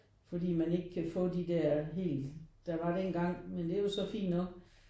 Fordi man ikke kan få de der helt der var dengang men der er jo så fint nok